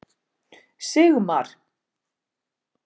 Sigmar